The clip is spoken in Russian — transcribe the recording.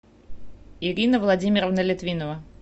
ирина владимировна литвинова